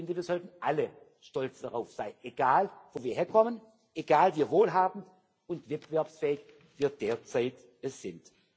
Ich finde, wir sollten alle stolz darauf sein egal wo wir herkommen, egal wie wohlhabend und wettbewerbsfähig wir derzeit sind.